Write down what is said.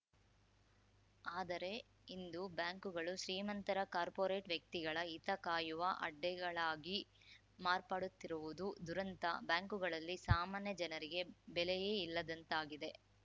ಆದರೆ ಇಂದು ಬ್ಯಾಂಕುಗಳು ಶ್ರೀಮಂತರ ಕಾರ್ಪೊರೇಟ್‌ ವ್ಯಕ್ತಿಗಳ ಹಿತ ಕಾಯುವ ಅಡ್ಡೆಗಳಾಗಿ ಮಾರ್ಪಡುತ್ತಿರುವುದು ದುರಂತ ಬ್ಯಾಂಕುಗಳಲ್ಲಿ ಸಾಮಾನ್ಯ ಜನರಿಗೆ ಬೆಲೆಯೇ ಇಲ್ಲದಂತಾಗಿದೆ